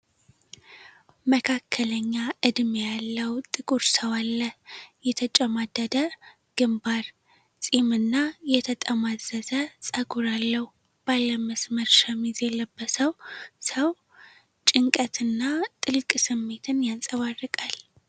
መካከለኛ ዕድሜ ያለው ጥቁር ሰው አለ። የተጨማደደ ግንባር፣ ፂምና የተጠማዘዘ ጸጉር አለው። ባለመስመር ሸሚዝ የለበሰው ሰው ጭንቀት እና ጥልቅ ስሜትን ያንጸባርቃል።